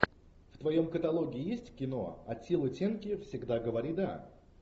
в твоем каталоге есть кино аттила тенки всегда говори да